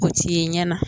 O ti ye ɲɛ na